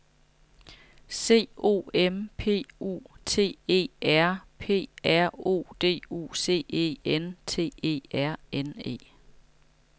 C O M P U T E R P R O D U C E N T E R N E